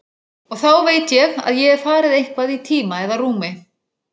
Og þá veit ég að ég hef farið eitthvað í tíma eða rúmi.